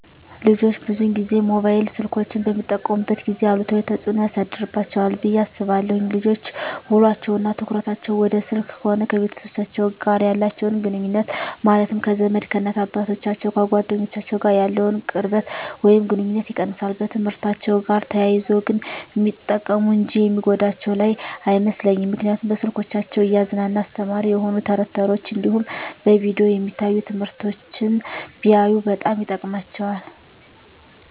ልጆች ብዙን ጊዜ ሞባይል ስልኮችን በሚጠቀሙበት ጊዜ አሉታዊ ተፅዕኖ ያሳድርባቸዋል ብየ አስባለው ልጆች ውሎቸው እና ትኩረታቸውን ወደ ስልክ ከሆነ ከቤተሰቦቻቸው ጋር ያላቸውን ግኑኙነት ማለትም ከዘመድ፣ ከእናት አባቶቻቸው፣ ከጓደኞቻቸው ጋር ያለውን ቅርበት ወይም ግኑኝነት ይቀንሳል። በትምህርትአቸው ጋር ተያይዞ ግን ሚጠቀሙ እንጂ የሚጎዳቸው ያለ አይመስለኝም ምክንያቱም በስልኮቻቸው እያዝናና አስተማሪ የሆኑ ተረት ተረቶች እንዲሁም በቪዲዮ የሚታዩ ትምህርቶችን ቢያዩ በጣም ይጠቅማቸዋል።